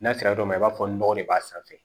N'a sera yɔrɔ dɔ ma i b'a fɔ nɔgɔ de b'a sanfɛ